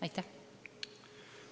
Aitäh!